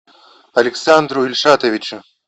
александру ильшатовичу